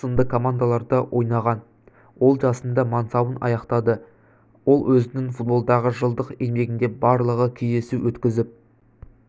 сынды командаларда ойнаған ол жасында мансабын аяқтады ол өзінің футболдағы жылдық еңбегінде барлығы кездесу өткізіп